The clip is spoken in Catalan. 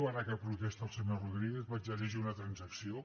ara que protesta el senyor rodríguez vaig a llegir una transacció